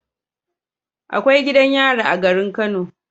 Akwai gidan yari a garin kano